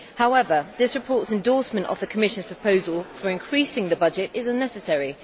However, this report's endorsement of the Commission's proposal for increasing the budget is unnecessary.